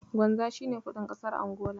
Kwanza shi ne kuɗin ƙasar Angola.